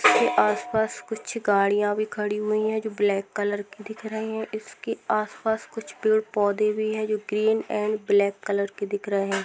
इसके आस-पास कुछ गाड़िया भी खड़ी हुई हैं जो ब्लैक कलर की दिख रही हैं। इसके आस-पास कुछ पेड़-पौधे भी हैं जो ग्रीन एंड ब्लैक कलर के दिख रहे हैं।